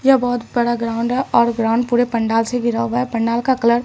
यह बहुत बड़ा ग्राउंड है और ग्राउंड पूरे पंडाल से घिरा हुआ है पंडाल का कलर --